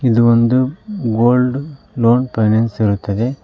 ಇದು ಒಂದು gold loan finance ಇರುತ್ತದೆ.